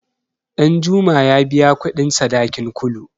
Ɗanjuma ya biya kuɗin sadakin Kulu.